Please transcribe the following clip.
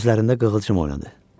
Gözlərində qığılcım oynadı.